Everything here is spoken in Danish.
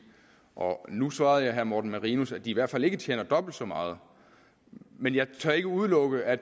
og nu svarede jeg herre morten marinus at de i hvert fald ikke tjener dobbelt så meget men jeg tør ikke udelukke at